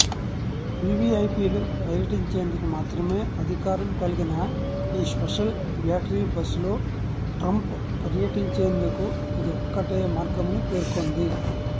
వివిఐపీలు పర్యటించేందుకు మాత్రమే అధికారం కలిగిన ఈ స్పెషల్ బ్యాటరీ బస్ లో ట్రంప్ పర్యటించేందుకు ఇదొక్కటే మార్గమని పేర్కొంది